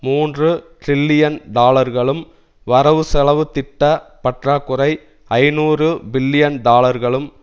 மூன்று டிரில்லியன் டாலர்களும் வரவுசெலவு திட்ட பற்றாக்குறை ஐநூறு பில்லியன் டாலர்களும்